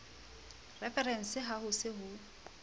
referense ha ho se ho